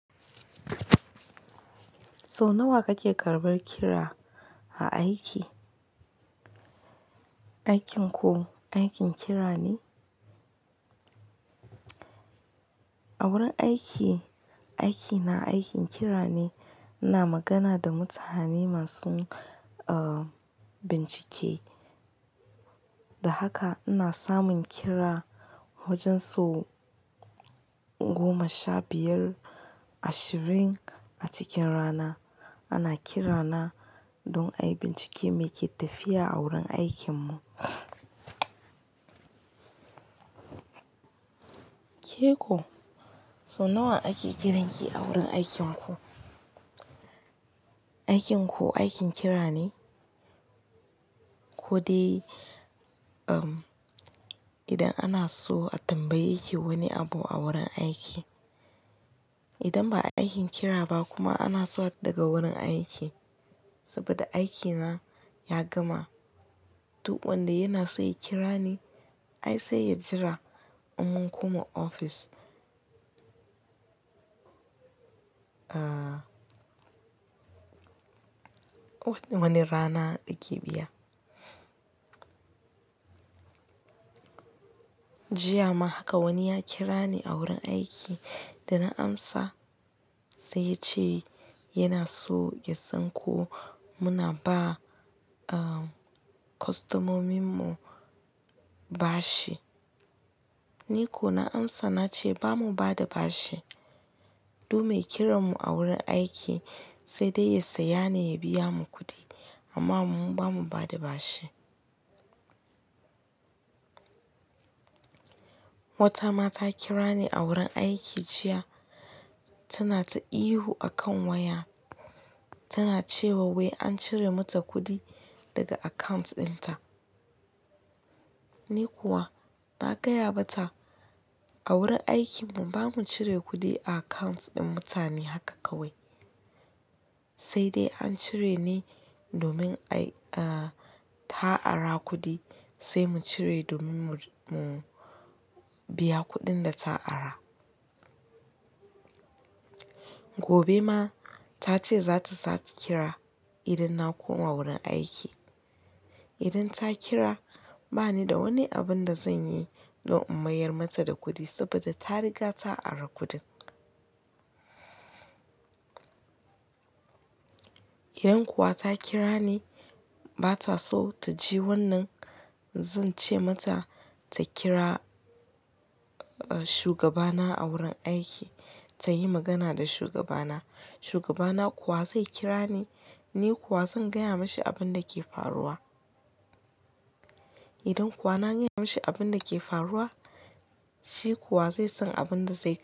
So nawa kake karbar kira a aiki? Aikin ku aikin kira ne? A wurin aiki, aikina aikin kira ne. Ina magana da mutane masu bincike, da haka ina samun kira wajen so goma sha biyar, ashirin a cikin rana. Ana kira na don ayi bincike mai ke tafiya a wurin aikin mu. Ke ko sau nawa ake kiranki a wurin aikinku? Aikin ku aikin kira ne? Ko dai, um, idan ana so a tambaye ki wani abu a wurin aiki. Idan ba aikin kira ba kuma ana so a daga wurin aiki, saboda aikina ya gama. Duk wanda yana so ya kira ni, ai sai ya jira in mun koma ofis. Ah, wani rana ake biya. Jiya ma haka wani ya kira ni a wurin aiki, da na amsa sai ya ce yana so ya san ko muna ba, um, kwastomomin mu bashi. Ni kuwa na amsa na ce ba mu ba da bashi. Duk mai kiran mu a wurin aiki, sai dai ya saya ne ya biya mu kuɗi amma mu ba mu ba da bashi. Wata mata kira ni a wurin aiki jiya, tana ta ihu a kan waya. Tana cewa wai an cire mata kuɗi daga account dinta. Ni kuwa na gaya mata a wurin aikin mu ba mu cire kuɗi a account ɗin mutane haka kawai. Sai dai an cire ne domin ai, ah, ta ari kuɗi, sai mu cire domin mu, mu biya kuɗin da ta ara. Gobe ma ta ce za ta sake kira idan na koma wurin aiki. Idan ta kira ba ni da wani abin da zan yi don in mayar mata da kuɗi saboda ta riga ta ari kuɗin. Idan kuwa ta kira ni ba ta so ta ji wannan, zan ce mata ta kira shugaba na a wurin aiki, ta yi magana da shugaba na. Shugaba na kuwa zai kira ni, ni kuwa zan gaya mashi abin da ke faruwa. Idan kuwa na gaya mashi abin da ke faruwa, shi kuwa zai san abin da zai yi.